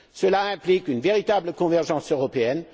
Cela implique une véritable convergence européenne.